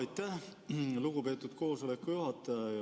Aitäh, lugupeetud koosoleku juhataja!